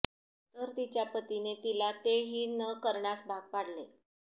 तर तिच्या पतीने तिला ते ही न करण्यास भाग पाडले